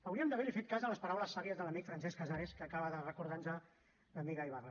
hauríem d’haver li fet cas a les paraules sàvies de l’amic francesc casares que acaba de recordar nos l’amiga ibarra